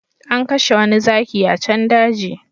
An kashe wani zaki a can daji